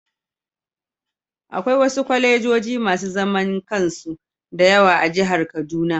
Akwai wasu kwalejoji masu zaman kansu da yawa a jihar kaduna